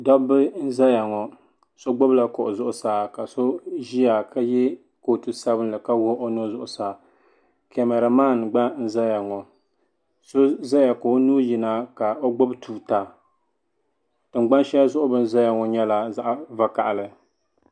Dobba n zaya ŋɔ so gbibila so ʒia ka ye kootu sabinli ka kpiɣi o nuu zuɣusaa kamara man gna n zaya ŋɔ so zaya ka o nuu yina ka o gbibi tuuta tingbani sheli zuɣu bɛ ni zaya ŋɔ nyɛla zaɣa vakahali.